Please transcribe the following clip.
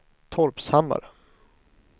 Torpshammar